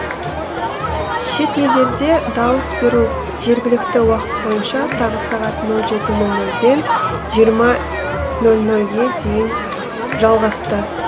шет елдерде дауыс беру жергілікті уақыт бойынша таңғы сағат нөл жеті нөл нөлден жиырма нөл нөлге дейін жалғасты